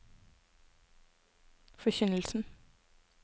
forkynnelsen